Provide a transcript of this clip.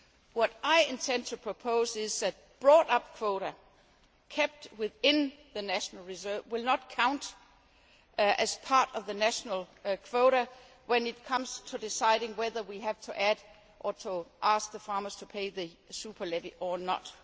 paid. What I intend to propose is that bought up quota kept within the national reserve will not count as part of the national quota when it comes to deciding whether we have to add or to ask the farmers to pay the super levy or